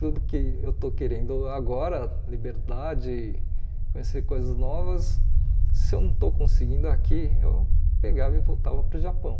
Tudo que eu estou querendo agora, liberdade, conhecer coisas novas, se eu não estou conseguindo aqui, eu pegava e voltava para o Japão.